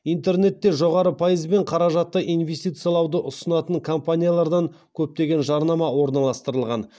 интернетте жоғары пайызбен қаражатты инвестициялауды ұсынатын компаниялардан көптеген жарнама орналастырылған